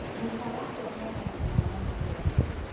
Gũka wakwa nĩanganagĩra ngano hwainĩ